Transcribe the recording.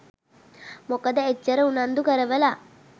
මොකද එච්චර උනන්දු කරවල